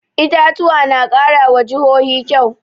Itatuwa na ƙara wa jihohi kyau